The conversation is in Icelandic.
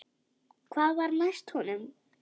Hvað var næst honum?